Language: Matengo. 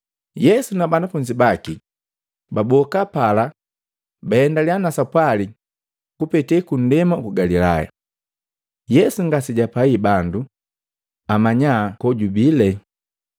Yesu na banafunzi baki baboka pala baendalya na sapwali kupetee kundema uku Galilaya. Yesu ngasejapai bandu amanya kojubile,